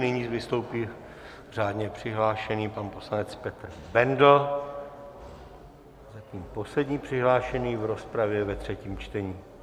Nyní vystoupí řádně přihlášený pan poslanec Petr Bendl, zatím poslední přihlášený do rozpravy ve třetím čtení.